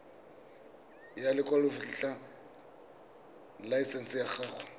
ya lekwalotetla laesense ya go